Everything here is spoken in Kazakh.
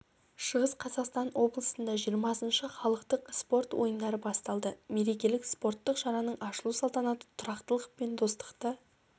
шығыс қазақстан облысында жиырмасыншы халықтық спорт ойындары басталды мерекелік спорттық шараның ашылу салтанаты тұрақтылық пен достықты